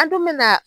An dun me na